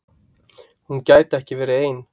Hún gæti ekki verið ein.